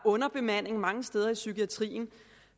underbemanding mange steder i psykiatrien